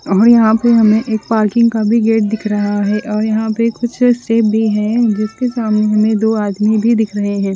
और यहाँ पे हमें एक पार्किंग का भी गेट दिख रहा है और यहाँ पे कुछ क शिप भी है जिसके सामने हमे दो आदमी भी दिख रहे है।